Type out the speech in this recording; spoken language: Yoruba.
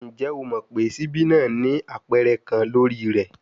Njẹ o mọ pe sibi naa ni apẹrẹ kan lori rẹ?